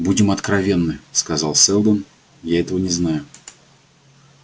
будем откровенны сказал сэлдон я этого не знаю